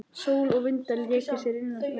Sól og vindar léku sér innan veggja.